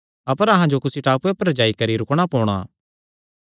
अपर अहां जो कुसी टापूये पर जाई करी रुकणा पोणा